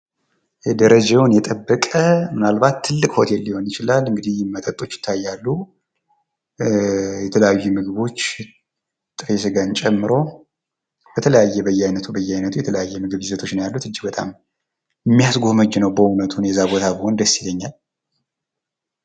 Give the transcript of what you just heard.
ደረጃውን የጠበቀ ምናልባት ትልቅ ሆቴል ሊሆን ይችላል ፤ መጠጦች ይታያሉ ፣ የተለያዩ ምግቦች ጥሬ ስጋን ጨምሮ፣ በተለያዩ በየአይነቱ በየአይነቱ የተለያየ የምግብ ይዘቶች ነው ያለዉ ፤ እጅግ በጣም የሚያስጎመጅ ነው በዉነቱ እኔ እዛ ቦታ ብሆን ደስ ይለኛል።